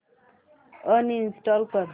uninstall कर